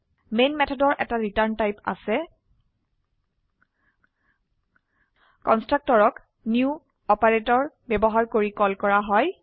যত মেথডৰ এটা ৰিটাৰ্ন টাইপ আছে কনস্ট্ৰাক্টৰক নিউ অপাৰেটৰ ব্যবহাৰ কৰি কল কৰা হয়